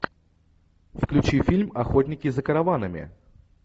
включи фильм охотники за караванами